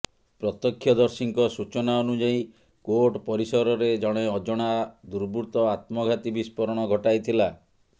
ପ୍ରତ୍ୟକ୍ଷଦର୍ଶୀଙ୍କ ସୂଚନା ଅନୁଯାୟୀ କୋର୍ଟ ପରିସରରେ ଜଣେ ଅଜଣା ଦୃର୍ବୃତ୍ତ ଆତ୍ମଘାତୀ ବିସ୍ଫୋରଣ ଘଟାଇଥିଲା